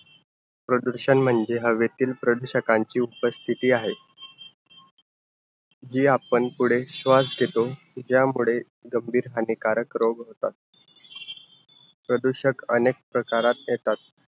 प्रदूषण म्हणजे हवेतील प्रदूषकांचे उपस्तिती आहे, जी आपण पुढे श्वास घेतो. ज्या मुळे गंभीर हानिकारक रोग होतात. प्रदूषक अनेक प्रकारात येतात.